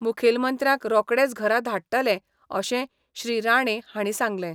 मुखेलमंत्र्यांक रोकडेच घरा धाडटले अशें श्री राणे हांणी सांगलें.